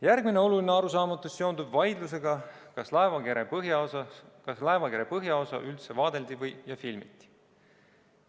Järgmine oluline arusaamatus seondub vaidlusega, kas laevakere põhjaosa üldse vaadeldi ja filmiti.